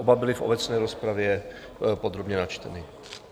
Oba byly v obecné rozpravě podrobně načteny.